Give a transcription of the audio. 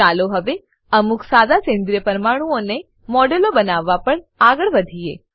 ચાલો હવે અમુક સાદા સેન્દ્રીય પરમાણુઓનાં મોડેલો બનાવવા પર આગળ વધીએ